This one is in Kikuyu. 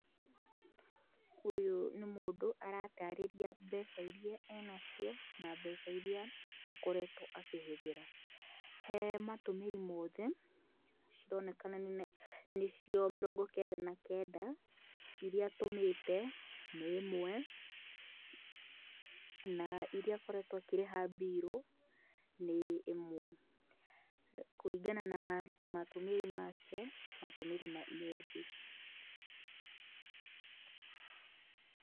Ũyũ nĩ mũndũ aratarĩria mbeca iria ena cio, na mbeca iria akoretwo akĩhũthĩra. He matũmĩri mothe, cironekana nĩ cio mĩrongo kenda na kenda, iria atũmĩte nĩ ĩmwe, na iria akoretwo akĩrĩha mbirũ, nĩ ĩmwe. Kũringana na matũmĩri make, matũmĩri methĩ.